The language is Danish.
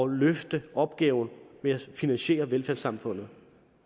at løfte opgaven med at finansiere velfærdssamfundet